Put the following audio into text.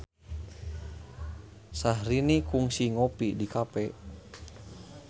Syahrini kungsi ngopi di cafe